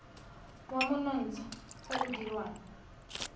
wa monontsha o o dirwang